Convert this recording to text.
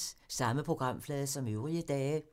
Samme programflade som øvrige dage